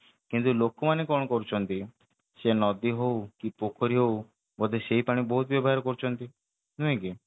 କିନ୍ତୁ ଲୋକ ମାନେ କଣ କରୁଛନ୍ତି ସେ ନଦୀ ହଉ କି ପୋଖରୀ ହଉ ବୋଧେ ସେଇ ପାଣି ବହୁତ ବ୍ୟବହାର କରୁଛନ୍ତି ନାଇକି